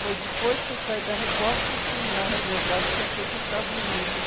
Foi depois que eu saí da Record que, que, na verdade, que eu fui para os Estados Unidos.